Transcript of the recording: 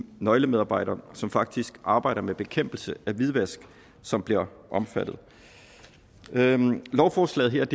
nøglemedarbejdere som faktisk arbejder med bekæmpelse af hvidvask som bliver omfattet lovforslaget her